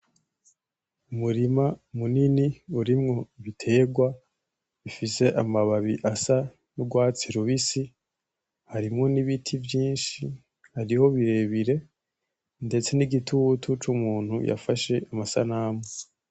Umurima munini urimwo ibitegwa ufise amababi asa n'urwatsi rubisi harimwo n'ibiti vyinshi, hariho birebire ndetse n'igitutu c'umuntu yafashe amasanamu.